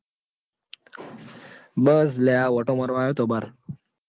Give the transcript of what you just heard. બસ લ્યા આ આંટો મારવા આયો તો બાર.